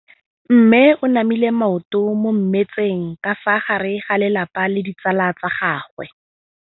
Mme o namile maoto mo mmetseng ka fa gare ga lelapa le ditsala tsa gagwe.